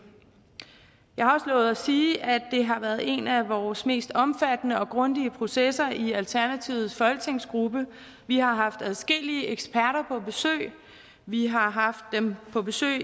jeg har lovet at sige at det har været en af vores mest omfattende og grundige processer i alternativets folketingsgruppe vi har haft adskillige eksperter på besøg vi har haft dem på besøg